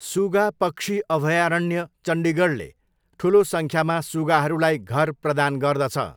सुगा पक्षी अभयारण्य चण्डीगढले ठुलो सङ्ख्यामा सुगाहरूलाई घर प्रदान गर्दछ।